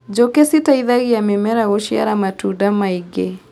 Njũkĩ citeithagia mĩmera gũciara matunda maingĩ.